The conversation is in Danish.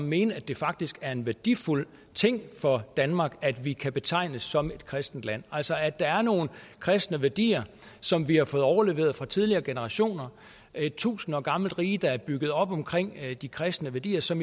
mene at det faktisk er en værdifuld ting for danmark at vi kan betegnes som et kristent land altså at der er nogle kristne værdier som vi har fået overleveret fra tidligere generationer et tusind år gammelt rige der er bygget om omkring de kristne værdier som